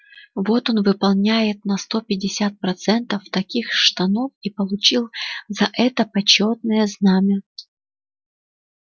вот он выполняет на сто пятьдесят процентов таких штанов и получил за это почётное знамя